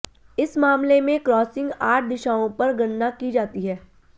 इस मामले में क्रॉसिंग आठ दिशाओं पर गणना की जाती है